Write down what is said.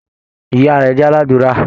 Ìyá rẹ jẹ́ aládùúrà.